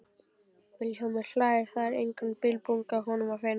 Vilhjálmur hlær, það er engan bilbug á honum að finna.